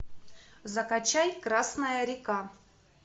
закачай красная река